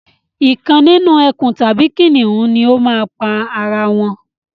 Ìkan nínú ẹkùn tàbí kìnìún ni o máa pa ara wọn